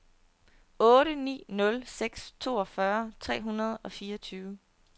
otte ni nul seks toogfyrre tre hundrede og fireogtyve